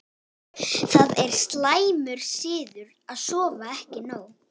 það er slæmur siður að sofa ekki nóg